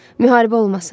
Müharibə olmasın.